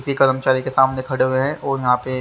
किसी कर्मचारी के सामने खड़े हुए हैं और यहां पे--